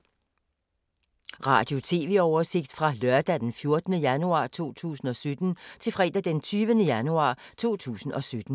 Radio/TV oversigt fra lørdag d. 14. januar 2017 til fredag d. 20. januar 2017